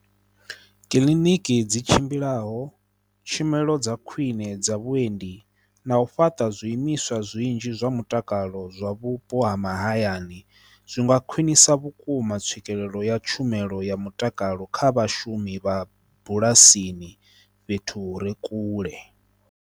Kiliniki dzi tshimbilaho, tshumelo dza khwiṋe dza vhuendi, na u fhaṱa zwi imiswa zwinzhi zwa mutakalo zwa vhupo ha mahayani, zwi nga khwinisa vhukuma tswikelelo ya tshumelo ya mutakalo kha vhashumi vha bulasini fhethu hu re kule.